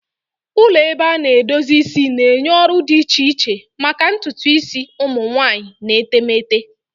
Ụlọ ebe a na-edozi isi na-enye ọrụ dị iche iche maka ntutu isi ụmụ nwanyị na etemeete.